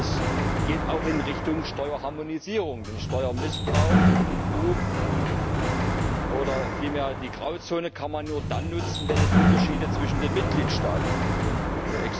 Es geht auch in Richtung Steuerharmonisierung, denn Steuermissbrauch oder betrug oder vielmehr die Grauzonen kann man nur dann nutzen, wenn es Unterschiede zwischen den Mitgliedstaaten gibt.